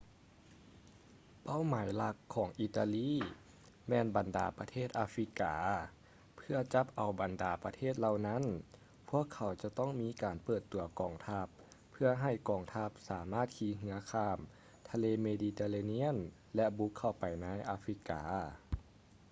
ເປົ້າໝາຍຫຼັກຂອງອີຕາລີແມ່ນບັນດາປະເທດອາຟຣິກາ ເພື່ອຈັບເອົາບັນດາປະເທດເຫຼົ່ານັ້ນ ພວກເຂົາຈະຕ້ອງມີການເປີດຕົວກອງທັບ ເພື່ອໃຫ້ກອງທັບສາມາດຂີ່ເຮືອຂ້າມທະເລເມດີເຕເຣນຽນ ແລະ ບຸກເຂົ້າໄປໃນອາຟຣິກາ